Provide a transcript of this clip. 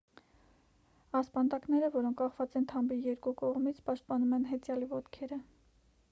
ասպանդակները որոնք կախված են թամբի երկու կողմից պաշտպանում են հեծյալի ոտքերը